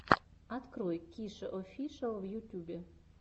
открой кишеофишиал в ютюбе